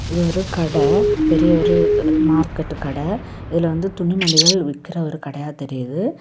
இது ஒரு கட பெரிய ஒரு மார்க்கெட்டு கட இதுல வந்து துணிமணிகள் விற்கிற ஒரு கடயா தெரியுது.